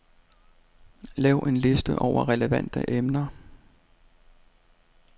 Lav en liste over relevante emner.